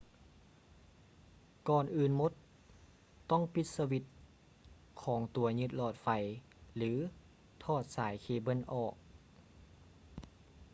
ກ່ອນອື່ນໝົດ ຕ້ອງປີດສະວິດຂອງຕົວຍຶດຫຼອດໄຟ ຫຼື ຖອດສາຍເຄເບິ້ນອອກ